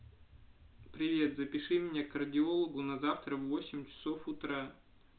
привет запиши меня к кардиологу на завтра в восемь часов утра